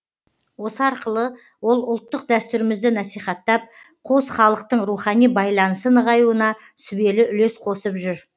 осы арқылы ол ұлттық дәстүрімізді насихаттап қос халықтың рухани байланысы нығаюына сүбелі үлес қосып жүр